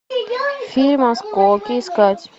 фильм осколки искать